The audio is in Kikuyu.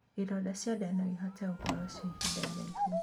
Ironda cia ndaa noĩhote gũkorwo cia ihinda iraihu